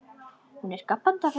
Hún er gapandi af undrun.